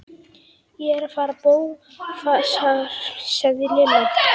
Ég er að fara í bófahasar sagði Lilla.